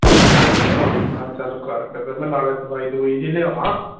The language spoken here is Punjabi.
ਆਹੋ ਮੈ ਚਲ ਕਰ ਕੀਤੇ ਨਾਲੇ ਦਵਾਈ ਦੁਵਾਈ ਜੀ ਲਿਆਵਾਂ